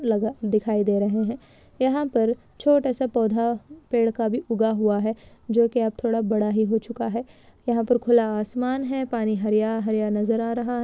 लगा दिखाई दे रहें हैं यहाँ पर छोटा सा पौधा पेड़ का भी उगा हुआ जो की अब थोड़ा बड़ा ही हो चुका है खुला आसमान है पानी हरिया हरिया नजर आ लगा दिखाई दे रहा है।